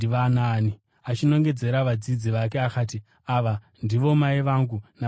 Achinongedzera vadzidzi vake akati, “Ava ndivo mai vangu navanunʼuna vangu.